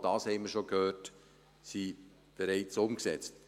Auch das haben wir schon gehört, es ist bereits umgesetzt.